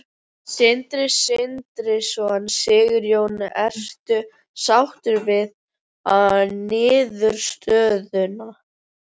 Sindri Sindrason: Sigurjón, ertu sáttur við niðurstöðuna?